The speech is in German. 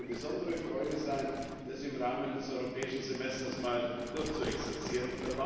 Es wird mir eine besondere Freude sein, das im Rahmen des Europäischen Semesters einmal durchzuexerzieren.